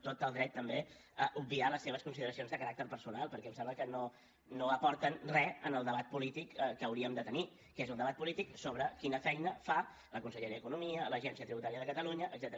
tot el dret també a obviar les seves consideracions de caràcter personal perquè em sembla que no aporten re en el debat polític que hauríem de tenir que és el debat polític sobre quina feina fa la conselleria d’economia l’agència tributària de catalunya etcètera